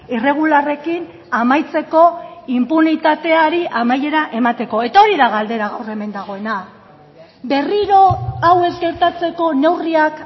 irregularrekin amaitzeko inpunitateari amaiera emateko eta hori da galdera gaur hemen dagoena berriro hau ez gertatzeko neurriak